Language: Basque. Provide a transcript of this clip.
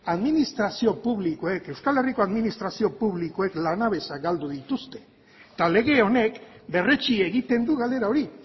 administrazio publikoek euskal herriko administrazio publikoek lanabesa galdu dituzte eta lege honek berretsi egiten du galera hori